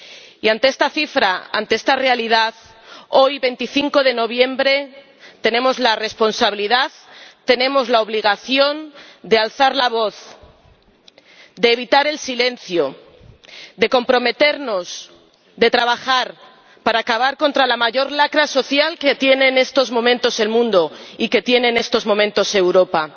Y ante esta cifra, ante esta realidad, hoy, 25 de noviembre, tenemos la responsabilidad, tenemos la obligación de alzar la voz, de evitar el silencio, de comprometernos, de trabajar para acabar con la mayor lacra social que tiene en estos momentos el mundo y que tiene en estos momentos Europa.